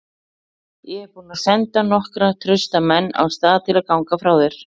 Ég er búinn að senda nokkra trausta menn af stað til að ganga frá þér.